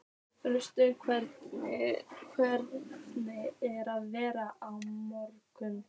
Rasmus, hvernig er veðrið á morgun?